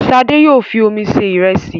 Ṣadé yóò fi omi se ìrẹsì.